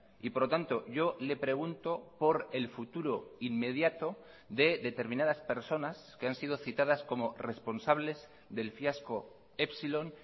y por lo tanto yo le pregunto por el futuro inmediato de determinadas personas que han sido citadas como responsables del fiasco epsilon